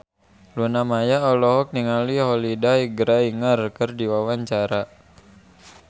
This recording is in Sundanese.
Luna Maya olohok ningali Holliday Grainger keur diwawancara